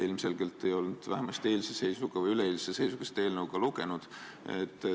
Ilmselgelt ei olnud ta vähemalt eilse või üleeilse seisuga seda eelnõu lugenudki.